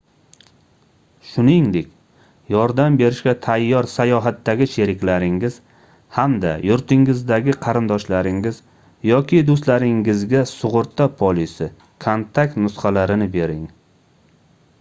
shuningdek yordam berishga tayyor sayohatdagi sheriklaringiz hamda yurtingizdagi qarindoshlaringiz yoki do'stlaringizga sug'urta polisi/kontakt nusxalarini bering